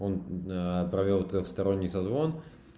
он провёл трёхсторонний созвон